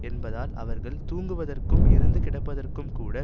என்பதால் அவர்கள் தூங்குவதற்கும் இறந்து கிடப்பதற்கும்கூட